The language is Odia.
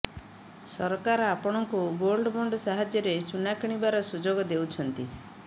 ସରକାର ଆପଣଙ୍କୁ ଗୋଲ୍ଡ ବଣ୍ଡ ସାହାଯ୍ୟରେ ସୁନା କିଣିବାର ସୁଯୋଗ ଦେଉଛନ୍ତି